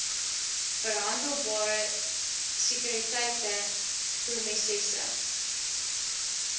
verhandelbare sekuriteite promesses